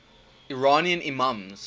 iranian imams